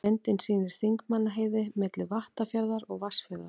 Myndin sýnir Þingmannaheiði, milli Vattarfjarðar og Vatnsfjarðar.